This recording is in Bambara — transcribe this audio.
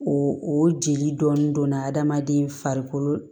O o jeli dɔɔnin donna hadamaden farikolo